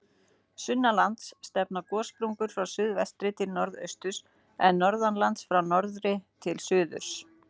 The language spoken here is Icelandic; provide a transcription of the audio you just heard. Sunnanlands stefna gossprungur frá suðvestri til norðausturs, en norðanlands frá norðri til suðurs.